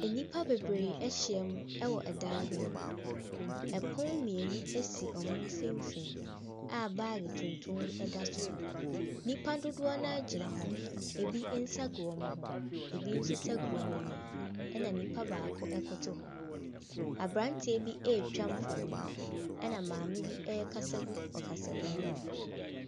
Nnipa bebree ahyia mu wɔ dan bi mu. Pono mmienu si wɔn mfimfini a baage tuntum bi da so. Nnipa dodoɔ no ara gyina hɔ. Ɛbi nsa gu wɔn ho, abi nso nsagu wɔn anim, ɛna nipa baako koto hɔ. Aberanteɛ bi retwa mfonim, na maame bi rekasa gu ɔkasamu mu.